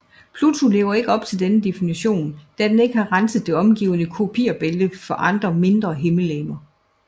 Pluto lever ikke op til denne definition da den ikke har renset det omgivende Kuiperbælte for andre mindre himmellegemer